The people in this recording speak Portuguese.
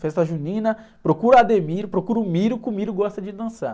Festa junina, procura o, procura o, que o gosta de dançar.